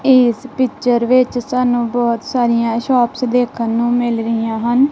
ਇਸ ਪਿਚਰ ਵਿੱਚ ਸਾਨੂੰ ਬਹੁਤ ਸਾਰੀਆਂ ਸ਼ੋਪਸ ਦੇਖਣ ਨੂੰ ਮਿਲ ਰਹੀਆਂ ਹਨ।